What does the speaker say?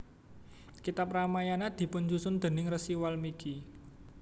Kitab Ramayana dipunsusun déning Rsi Walmiki